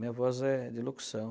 Minha voz é de locução.